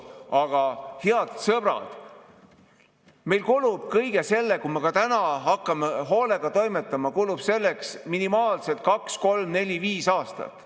Aga, head sõbrad, meil kulub kõigeks selleks, kui me juba täna hakkame hoolega toimetama, minimaalselt kaks, kolm, neli või viis aastat.